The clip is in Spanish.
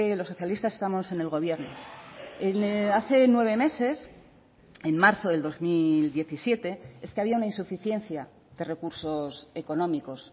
los socialistas estamos en el gobierno hace nueve meses en marzo del dos mil diecisiete es que había una insuficiencia de recursos económicos